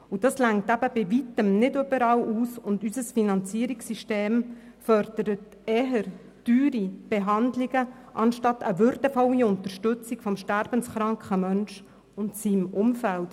Dieses reicht bei Weitem nicht überall aus, und unser Finanzierungssystem fördert eher teure Behandlungen statt einer würdevollen Unterstützung des sterbenskranken Menschen und seines Umfelds.